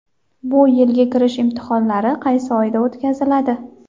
Bu yilgi kirish imtihonlari qaysi oyda o‘tkaziladi?.